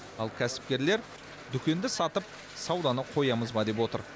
ал кәсіпкерлер дүкенді сатып сауданы қоямыз ба деп отыр